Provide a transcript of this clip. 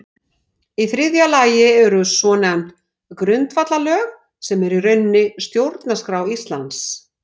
Í þriðja lagi eru svonefnd grundvallarlög sem eru í rauninni stjórnarskrá Íslands.